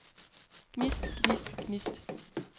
gnist gnist gnist